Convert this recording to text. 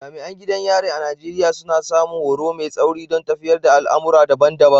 Jami’an gidan yari a Najeriya, suna samun horo mai tsauri don tafiyar da al’amura daban-daban.